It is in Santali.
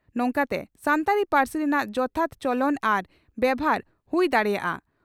ᱱᱚᱝᱠᱟᱛᱮ ᱥᱟᱱᱛᱟᱲᱤ ᱯᱟᱹᱨᱥᱤ ᱨᱮᱱᱟᱜ ᱡᱚᱛᱷᱟᱛ ᱪᱚᱞᱚᱱ ᱟᱨ ᱵᱮᱵᱷᱟᱨ ᱦᱩᱭ ᱫᱟᱲᱮᱭᱟᱜᱼᱟ ᱾